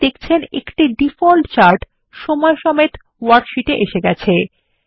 আপনি দেখচেন একটি ডিফল্ট চার্ট সময়সমেত ওয়ার্কশীটে এসে গেছে